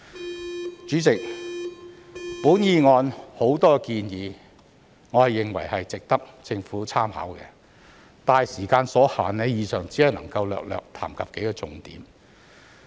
代理主席，我認為議案有許多建議值得政府參考，但時間所限，以上只能略略談及數項重點。